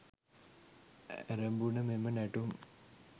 ඇරඹුණ මෙම නැටුම්